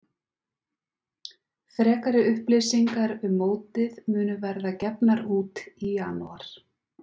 Frekari upplýsingar um mótið munu verða gefnar út í janúar.